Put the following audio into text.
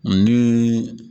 Ani